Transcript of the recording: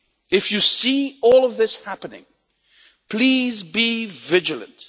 if you see all of this happening, please be vigilant.